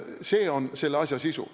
See on selle asja sisu.